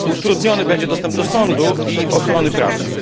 Utrudniony będzie dostęp do sądu i ochrony prawnej.